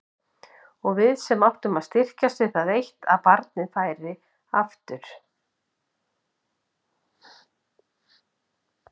Og við sem áttum að styrkjast við það eitt að barninu færi aftur.